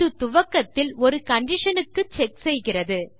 அது துவக்கத்தில் ஒரு கண்டிஷன் க்கு செக் செய்கிறது